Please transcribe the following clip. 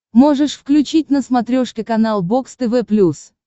можешь включить на смотрешке канал бокс тв плюс